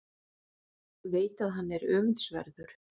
Veit að hann er öfundsverður.